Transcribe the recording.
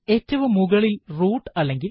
ഏറ്റവും മുകളിൽ റൂട്ട് അല്ലെങ്കിൽ